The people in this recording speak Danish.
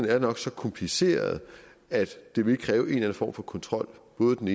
er nok så kompliceret at det vil kræve en eller anden form for kontrol både den